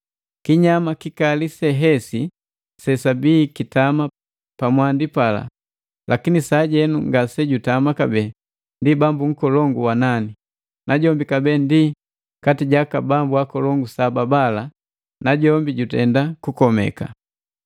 Kinyama kikali sehesi sesabii kitama pamwandi pala lakini sajenu ngasejutama kabee ndi bambu nkolongu wa nani, najombi kabee ndi kati ja aka bambu akolongu saba bala na jombi jujenda kukomeka.